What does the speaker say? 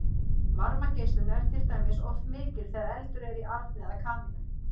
varmageislun er til dæmis oft mikil þegar eldur er í arni eða kamínu